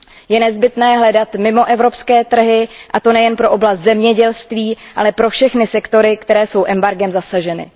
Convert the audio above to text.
Je nezbytné hledat mimoevropské trhy, a to nejen pro oblast zemědělství, ale pro všechny sektory, které jsou embargem zasaženy.